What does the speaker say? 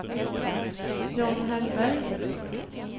John Hellberg